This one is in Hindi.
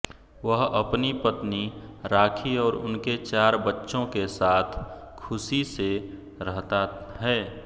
वह अपनी पत्नी राखी और उनके चार बच्चों के साथ खुशी से रहता है